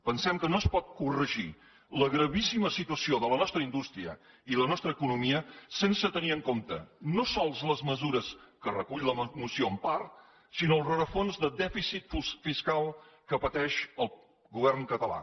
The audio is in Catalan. pensem que no es pot corregir la gravíssima situació de la nostra indústria i la nostra economia sense tenir en compte no sols les mesures que recull la moció en part sinó el rerefons de dèficit fiscal que pateix el govern català